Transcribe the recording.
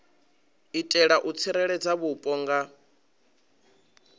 itela u tsireledza vhupo nga